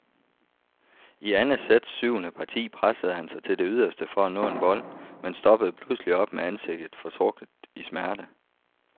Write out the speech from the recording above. I andet sæts syvende parti pressede han sig til det yderste for at nå en bold, men stoppede pludselig op med ansigtet fortrukket i smerte.